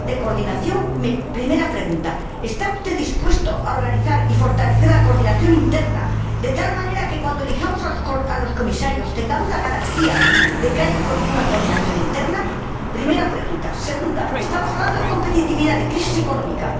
Mi primera pregunta es ¿Está usted dispuesto a organizar y fortalecer la coordinación interna, de tal manera que, cuando elijamos a los Comisarios, tengamos la garantía de que haya una coordinación interna? Segunda pregunta estamos hablando de competitividad, de crisis económica.